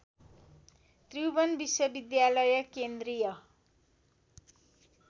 त्रिभुवन विश्वविद्यालय केन्द्रीय